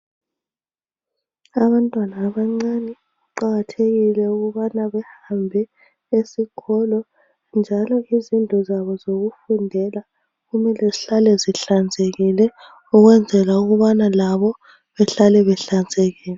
Abantwana abancane kuqakathekile ukubana behambe esikolo njalo izindlu zabo zokufundela kumele zihlale zihlanzekile ukwenzela ukubana labo behlale behlanzekile.